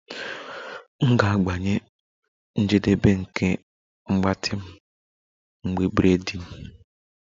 M ga-agbanye njedebe nke mgbatị m mgbe braiding